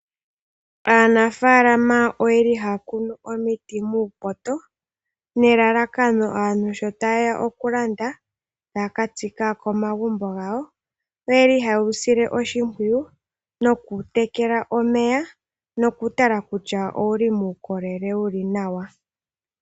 Aanafaalama oyeli haya kunu omiti muupoto nelalakano aantu sho ta ye ya okulanda yakatsike komagumbo gawo oyeli haye wu sile oshimpwiyu , nokuutekela omeya no ku tala kutya ngele owuli ngaa muukolele wuli nawa?